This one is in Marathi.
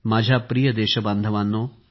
माझी प्रिय देशबांधवांनो